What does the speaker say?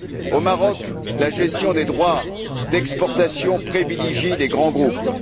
Au Maroc, la gestion des droits d'exportation privilégie les grands groupes.